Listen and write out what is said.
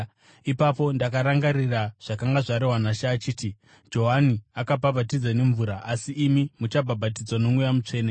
Ipapo ndakarangarira zvakanga zvarehwa naShe achiti, ‘Johani akabhabhatidza nemvura, asi imi muchabhabhatidzwa noMweya Mutsvene.’